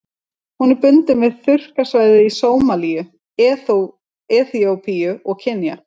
Hún er bundin við þurrkasvæði í Sómalíu, Eþíópíu og Kenýa.